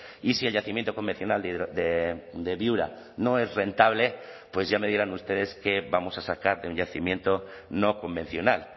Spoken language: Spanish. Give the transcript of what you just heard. y si el yacimiento convencional de viura no es rentable pues ya me dirán ustedes qué vamos a sacar de un yacimiento no convencional